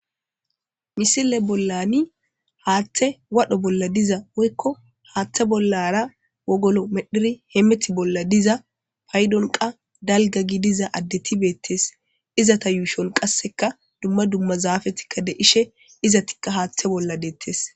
Missile bollani hathey wodho bolla diza woyko hathe bollara wogolo medhidi hemeto bolla diza paydon qase dalga gidiza addeti betetes izeta yushon qase duma duma zafeti de'ishe izetika haathe bolla deetes